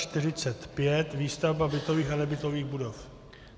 N345 - výstavba bytových a nebytových budov.